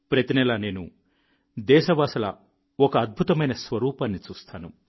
ప్రతి నెలా నేను దేశవాసుల ఒక అద్భుతమైన స్వరూపాన్ని చూస్తాను